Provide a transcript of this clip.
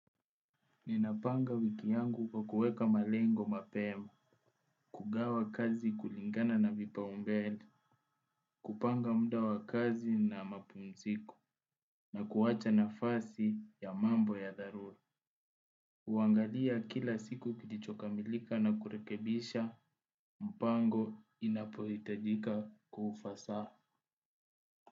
Ninapanga wiki yangu kwa kuweka malengo mapema, kugawa kazi kulingana na vipaa umbele, kupanga muda wa kazi na mapumziko, na kuwacha nafasi ya mambo ya dharura. Huangalia kila siku kilichokamilika na kurekebisha mipango inapohitajika kwa ufasaha.